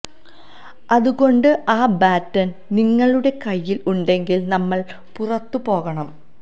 അതുകൊണ്ട് ആ ബാറ്റൺ നിങ്ങളുടെ കയ്യിൽ ഉണ്ടെങ്കിൽ നമ്മൾ പുറത്തു പോകണം